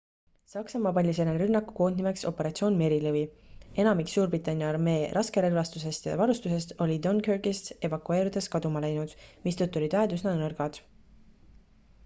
saksamaa pani selle rünnaku koodnimeks operatsioon merilõvi enamik suurbritannia armee raskerelvastusest ja varustusest oli dunkirkist evakueerudes kaduma läinud mistõttu olid väed üsna nõrgad